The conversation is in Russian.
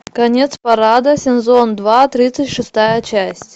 конец парада сезон два тридцать шестая часть